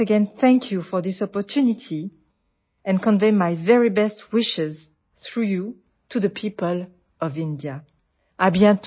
I once again thank you for this opportunity and convey my very best wishes through you to the people of India...